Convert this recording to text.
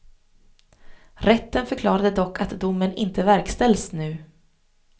Rätten förklarade dock att domen inte verkställs nu.